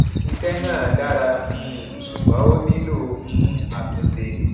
iṣẹ náà dára um ṣùgbọn ó nílò um àtúnṣe